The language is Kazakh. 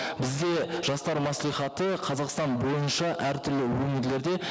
бізде жастар мәслихаты қазақстан бойынша әртүрлі өңірлерде